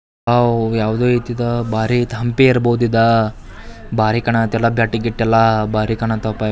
ಓ ಯಾವ್ದೋ ಇದು ಬರು ಅಯ್ತೆ ಹಂಪಿ ಇರ್ಬೋದು ಇದ ಬರಿ ಕಾಣತೈತಿ ಇದು ಎಲ್ಲ.